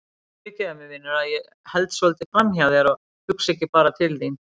Fyrirgefðu mér vinur að ég held svolítið framhjá þér og hugsa ekki bara til þín.